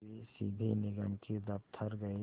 वे सीधे निगम के दफ़्तर गए